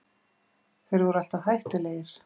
Þeir voru alltaf hættulegir